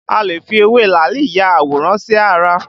A lè fi ewé làálì ya àwòrán sí ara